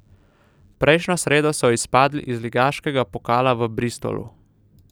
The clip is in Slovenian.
Prejšnjo sredo so izpadli iz ligaškega pokala v Bristolu.